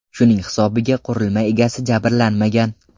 Shuning hisobiga qurilma egasi jabrlanmagan.